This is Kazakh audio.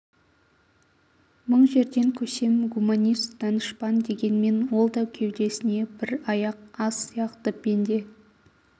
мың жерден көсем гуманист данышпан дегенмен ол да кеудесіне бір аяқ ас сияқты пенде